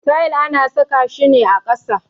Tayil ana saka shi ne ƙasa.